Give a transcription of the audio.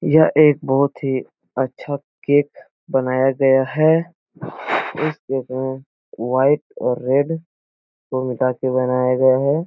यह एक बहोत ही अच्छा केक "बनाया गया है इस केक में वाइट और रेड को मिलाके बनाया गया है।